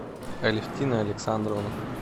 алевтина александровна